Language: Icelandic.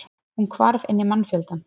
Hún hvarf inn í mannfjöldann.